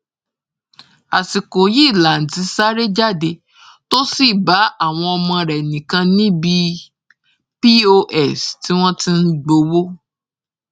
àsìkò yìí lanti sáré jáde tó sì bá àwọn ọmọ rẹ nìkan níbi pọs tí wọn ti ń gbowó